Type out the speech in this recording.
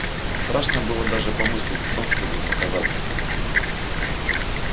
страшно было даже помыслить о том чтобы показаться там